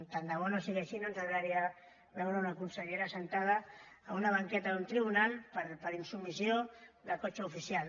tant de bo no sigui així no ens agradaria veure una consellera asseguda en una banqueta d’un tribunal per insubmissió del cotxe oficial